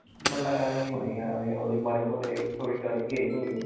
ਮੈਨੂੰ ਲੱਗਿਆ ਐਵੇਂ ਹੀ ਹੋਣੀ ਆਂ ਐਵੇਂ ਹੀ ਮਾੜੇ ਮੋਟੇ story ਆਈ ਹੋਣੀ ਆਂ